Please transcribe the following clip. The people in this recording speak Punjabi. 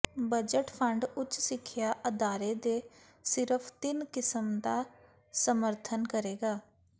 ਬਜਟ ਫੰਡ ਉੱਚ ਸਿੱਖਿਆ ਅਦਾਰੇ ਦੇ ਸਿਰਫ ਤਿੰਨ ਕਿਸਮ ਦਾ ਸਮਰਥਨ ਕਰੇਗਾ